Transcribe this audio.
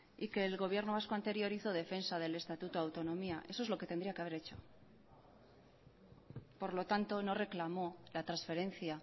y que el gobierno vasco anterior hizo defensa del estatuto de autonomía eso es lo que tendría que haber hecho por lo tanto no reclamó la transferencia